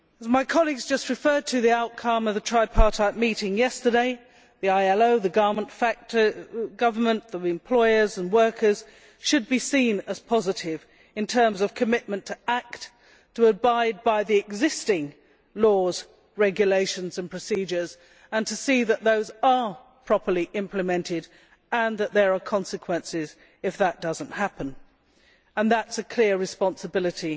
My colleague has just referred to the outcome of the tripartite meeting yesterday the ILO, the government, the employers and workers should be seen as positive in terms of commitment to act, to abide by the existing laws, regulations and procedures, and to see that those are properly implemented and that there are consequences if that does not happen. That is a clear responsibility